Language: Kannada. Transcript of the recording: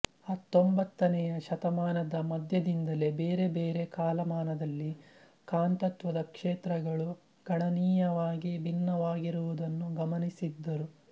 ಹತ್ತೊಂಬತ್ತನೆಯ ಶತಮಾನದ ಮಧ್ಯದಿಂದಲೇ ಬೇರೆ ಬೇರೆ ಕಾಲಮಾನದಲ್ಲಿ ಕಾಂತತ್ವದ ಕ್ಷೇತ್ರಗಳು ಗಣನೀಯವಾಗಿ ಭಿನ್ನವಾಗಿರುವುದನ್ನು ಗಮನಿಸಿದ್ದರು